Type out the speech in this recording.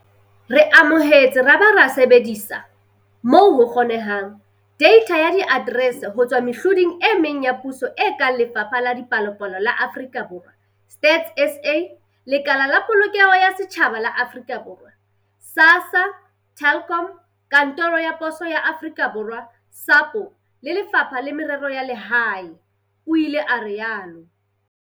"Re amohetse ra ba ra sebedisa, moo ho kgonehang, deitha ya diaterese ho tswa mehloding e meng ya puso e kang Lefapha la Dipalopalo la Aforika Borwa, StatsSA, Lekala la Polokeho ya Setjhaba la Aforika Borwa, SASSA, Telkom, Kantoro ya Poso ya Aforika Borwa, SAPO, le Lefapha la Merero ya Lehae," o ile a rialo.